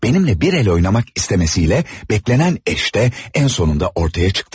Benimle bir el oynamak istemesiyle beklenen eş de en sonunda ortaya çıktı.